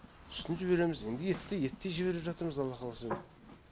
сүтін жібереміз енді етті еттей жіберіп жатырмыз алла қаласа енді